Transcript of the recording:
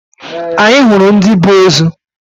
Anyị hụrụ ndi bu ozo